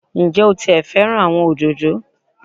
Ǹ jé o ti è fẹ́ràn àwọn òdòdó